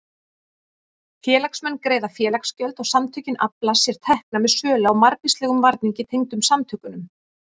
Félagsmenn greiða félagsgjöld og samtökin afla sér tekna með sölu á margvíslegum varningi tengdum samtökunum.